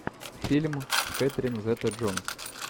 фильм с кэтрин зета джонс